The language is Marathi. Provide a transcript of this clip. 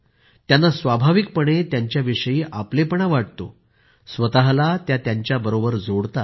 त्यांना स्वाभाविकपणे त्यांच्याविषयी आपलेपणा वाटतो स्वतःला त्यांच्याबरोबर जोडतात